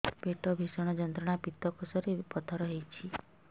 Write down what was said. ପେଟ ଭୀଷଣ ଯନ୍ତ୍ରଣା ପିତକୋଷ ରେ ପଥର ହେଇଚି